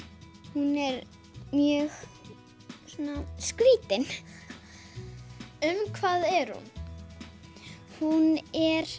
hún er mjög svona skrítin um hvað er hún hún er